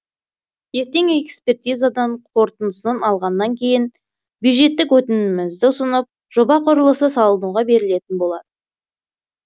ертең экспертизадан қорытындысын алғаннан кейін бюджеттік өтінімімізді ұсынып жоба құрылысы салынуға берілетін болады